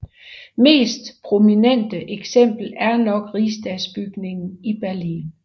Mest prominente eksempel er nok Rigsdagsbygningen i Berlin